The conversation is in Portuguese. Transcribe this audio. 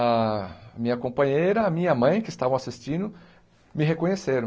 A minha companheira, a minha mãe, que estavam assistindo, me reconheceram.